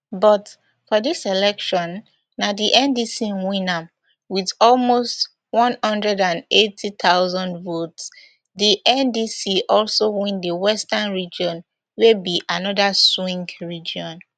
but for dis election na di ndc win am wit almost b one hundred and eighty thousand votes di ndc also win di western region wey be anoda swing region